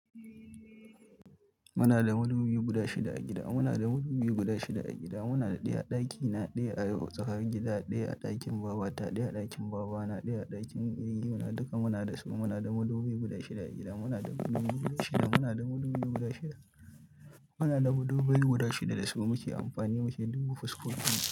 Muna da madubi guda shida a gida. Muna da madubi guda shida a gida. Muna da ɗaya a ɗaki, na ɗaya a tsakar gida, ɗaya a ɗakin babata, ɗaya a ɗakin babana, ɗaya a ɗakin yayyuna. Duka muna da su. Muna da madubi guda shida a gida. Muna da madubi guda shida. Muna da madubi guda shida. Muna da madubai guda shida da su muke amfani, muke dubo fuskokinsu.